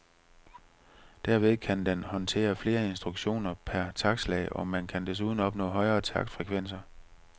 Derved kan den håndtere flere instruktioner per taktslag, og man kan desuden opnå højere taktfrekvenser.